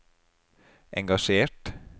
engasjert